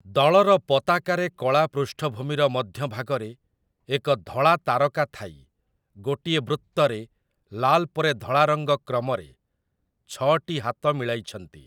ଦଳର ପତାକାରେ କଳା ପୃଷ୍ଠଭୂମିର ମଧ୍ୟଭାଗରେ ଏକ ଧଳା ତାରକା ଥାଇ ଗୋଟିଏ ବୃତ୍ତରେ ଲାଲ ପରେ ଧଳା ରଙ୍ଗ କ୍ରମରେ ଛଅଟି ହାତ ମିଳାଇଛନ୍ତି ।